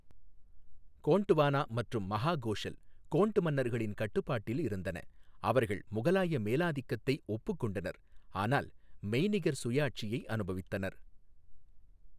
கோண்ட்வானா மற்றும் மஹாகோஷல், கோண்ட் மன்னர்களின் கட்டுப்பாட்டில் இருந்தன, அவர்கள் முகலாய மேலாதிக்கத்தை ஒப்புக்கொண்டனர், ஆனால் மெய்நிகர் சுயாட்சியை அனுபவித்தனர்.